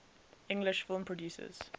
english film producers